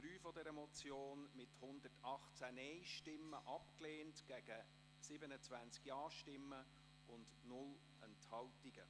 Sie haben den Punkt 3 dieser Motion abgelehnt mit 118 Nein- gegen 27 Ja-Stimmen bei 0 Enthaltungen.